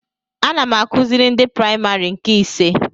Ana m akụziri ndị praimarị nke ise